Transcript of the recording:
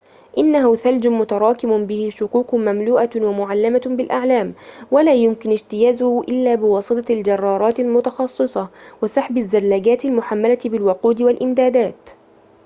إنه ثلج متراكم به شقوق مملوءة ومُعلّمة بالأعلام ولا يمكن اجتيازه إلا بواسطة الجرارات المتخصصة وسحب الزلاجات المحملة بالوقود والإمدادات